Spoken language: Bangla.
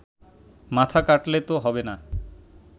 মাথা কাটলে তো হবে না